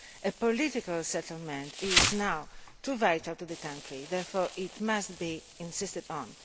A political settlement is now absolutely vital for the country, therefore it must be insisted upon.